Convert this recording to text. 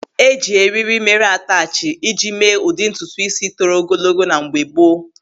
Eji eriri mere atachi iji mee ụdị ntutu ísí toro ogologo na mgbe gboo.